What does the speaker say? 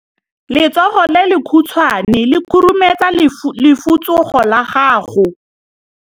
Letsogo le lekhutshwane le khurumetsa lesufutsogo la gago.